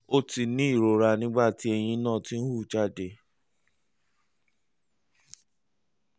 o ti ní ìrora nígbà tí eyín náà ń hù jáde